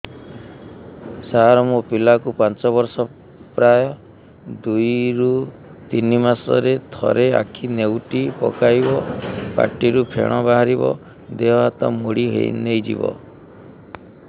ସାର ମୋ ପିଲା କୁ ପାଞ୍ଚ ବର୍ଷ ପ୍ରାୟ ଦୁଇରୁ ତିନି ମାସ ରେ ଥରେ ଆଖି ନେଉଟି ପକାଇବ ପାଟିରୁ ଫେଣ ବାହାରିବ ଦେହ ହାତ ମୋଡି ନେଇଯିବ